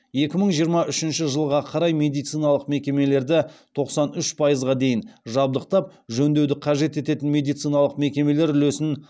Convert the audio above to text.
екі мың жиырма үшінші жылға қарай медициналық мекемелерді тоқсан үш пайызға дейін жабдықтап жөндеуді қажет ететін медициналық мекемелер үлесін